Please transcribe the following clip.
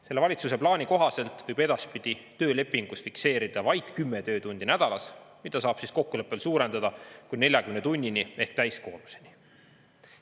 Selle valitsuse plaani kohaselt võib edaspidi töölepingus fikseerida vaid 10 töötundi nädalas, mida saab kokkuleppel suurendada kuni 40 tunnini ehk täiskoormuseni.